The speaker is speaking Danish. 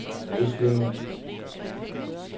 Ryslinge